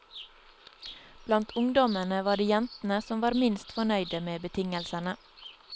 Blant ungdommene var det jentene som var minst fornøyde med betingelsene.